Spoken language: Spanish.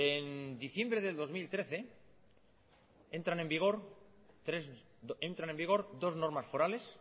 en diciembre del dos mil trece entran en vigor dos normas forales